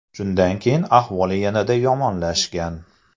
Shundan keyin ahvol yanada yomonlashgan.